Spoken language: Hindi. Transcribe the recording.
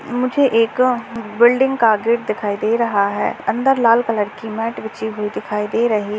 मुझे एक बिल्डिंग का गेट दिखाई दे रहा है अंदर लाल कलर की मैट बिछी हुई दिखाई दे रही है।